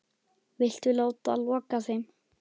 Viltu láta loka þeim?